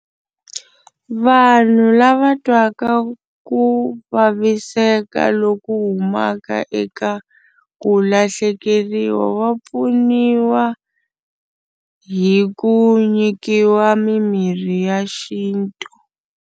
Vanhu lava twaka ku vaviseka loku humaka eka ku lahlekeriwa va pfuniwa hi ku nyikiwa mimirhi ya xintu.